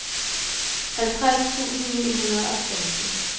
halvtreds tusind ni hundrede og femten